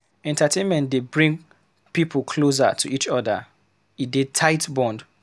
Entertainment dey bring pipo closer to each other, e dey tight bond.